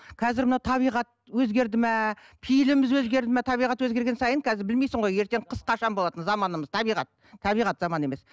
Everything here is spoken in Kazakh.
қазір мынау табиғат өзгерді ме пейіліміз өзгерді ме табиғат өзгерген сайын қазір білмейсің ғой ертең қыс қашан болатынын заманымыз табиғат табиғат заман емес